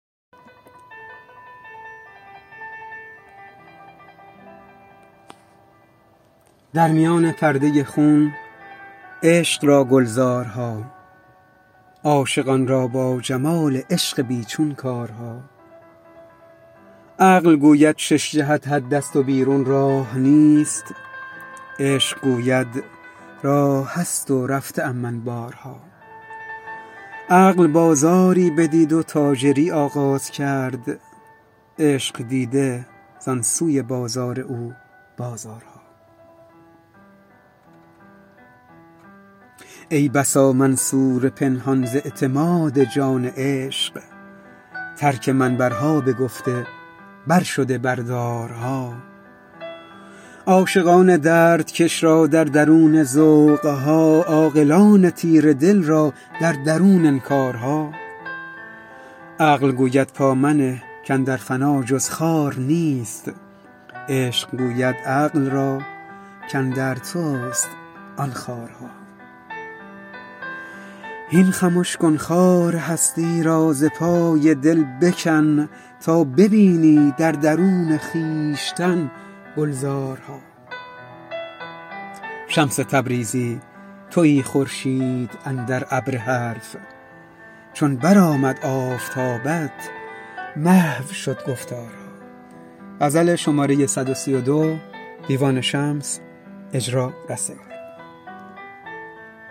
در میان پرده خون عشق را گلزارها عاشقان را با جمال عشق بی چون کارها عقل گوید شش جهت حدست و بیرون راه نیست عشق گوید راه هست و رفته ام من بارها عقل بازاری بدید و تاجری آغاز کرد عشق دیده زان سوی بازار او بازارها ای بسا منصور پنهان ز اعتماد جان عشق ترک منبرها بگفته برشده بر دارها عاشقان دردکش را در درونه ذوق ها عاقلان تیره دل را در درون انکارها عقل گوید پا منه کاندر فنا جز خار نیست عشق گوید عقل را کاندر توست آن خارها هین خمش کن خار هستی را ز پای دل بکن تا ببینی در درون خویشتن گلزارها شمس تبریزی تویی خورشید اندر ابر حرف چون برآمد آفتابت محو شد گفتارها